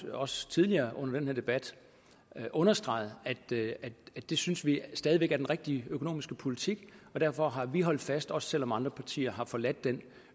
også tidligere under den her debat understreget at det synes vi stadig væk er den rigtige økonomiske politik og derfor har vi holdt fast også selv om andre partier har forladt den